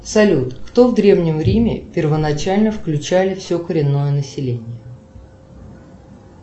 салют кто в древнем риме первоначально включали все коренное население